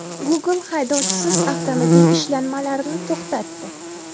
Google haydovchisiz avtomobil ishlanmalarini to‘xtatdi.